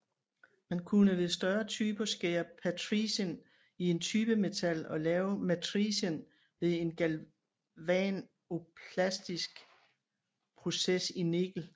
Man kunne ved større typer skære patricen i typemetal og lave matricen ved en galvanoplastisk proces i nikkel